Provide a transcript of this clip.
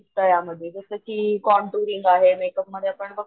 शिकता या यामध्ये जस कि कोंटोरिअन आहे मेकअप मध्ये आपण,